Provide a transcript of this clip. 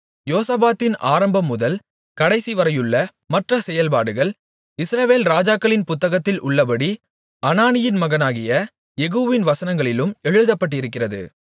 யோசபாத்தின் ஆரம்பம்முதல் கடைசிவரையுள்ள மற்ற செயல்பாடுகள் இஸ்ரவேல் ராஜாக்களின் புத்தகத்தில் உள்ளபடி அனானியின் மகனாகிய யெகூவின் வசனங்களிலும் எழுதப்பட்டிருக்கிறது